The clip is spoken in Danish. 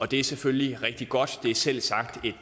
det er selvfølgelig rigtig godt det er selvsagt et